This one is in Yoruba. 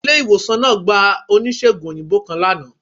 Ile-iwosan naa gba onísegùn oyinbo kan lana